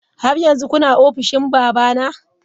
Har yanzu kuna ofishin babana?